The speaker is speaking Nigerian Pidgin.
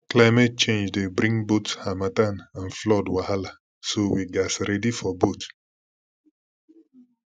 climate change dey bring both harmattan and flood wahala so we gats ready for both